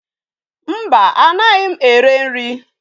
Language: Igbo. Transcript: Mba, anaghị ere nri.